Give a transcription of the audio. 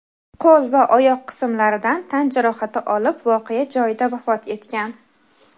qo‘l va oyoq qismlaridan tan jarohati olib voqea joyida vafot etgan.